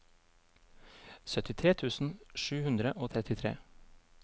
syttitre tusen sju hundre og trettitre